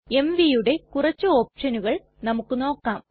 mvയുടെ കുറച്ചു ഓപ്ഷനുകൾ നമുക്ക് നോക്കാം